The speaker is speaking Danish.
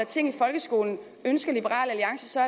ting i folkeskolen ønsker liberal alliance så